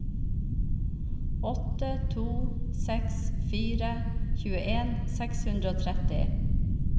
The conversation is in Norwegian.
åtte to seks fire tjueen seks hundre og tretti